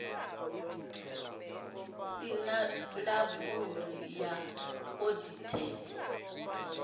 si na labulu ya iodated